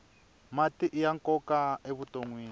mati iya nkoka evutonwini